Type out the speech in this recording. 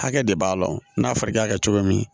Hakɛ de b'a la n'a fɔra i k'a kɛ cogo min